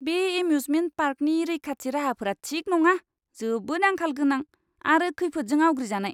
बे एम्यूजमेन्ट पार्कनि रैखाथि राहाफोरा थिक नङा, जोबोद आंखाल गोनां आरो खैफोदजों आवग्रिजानाय!